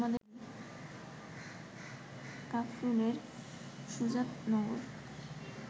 কাফরুলের Sujatnagar